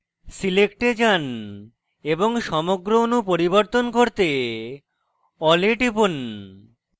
select এ যান এবং সমগ্র অণু পরিবর্তন করতে all এ টিপুন